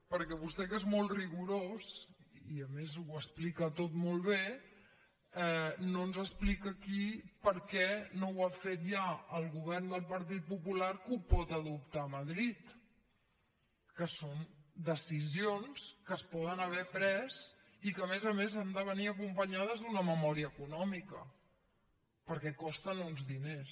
perquè vostè que és molt rigorós i a més ho explica tot molt bé no ens explica aquí per què no ho ha fet ja el govern del partit popular que ho pot adoptar a madrid que són decisions que es poden haver pres i que a més a més han de venir acompanyades d’una memòria econòmica perquè costen uns diners